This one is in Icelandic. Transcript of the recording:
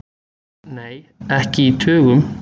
Nei, ekki í tugum.